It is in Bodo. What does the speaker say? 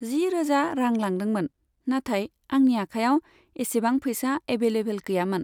जि रोजा रां लादोंमोन, नाथाय आंनि आखाइआव इसेबां फैसा एभैलेबोल गैयामोन।